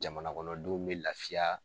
Jamana kɔnɔdenw be lafiyaa